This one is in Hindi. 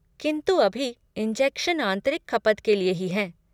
किन्तु अभी, इंजेक्शन आंतरिक खपत के लिए ही हैं।